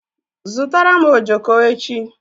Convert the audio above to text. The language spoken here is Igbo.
Zụrụtara m ojoko echi!